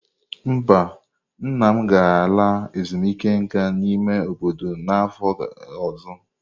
Mba, nna m ga-ala ezumike nka n'ime obodo n'afọ ọzọ.